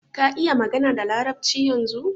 Ka iƴa magana da larabci ƴanzun?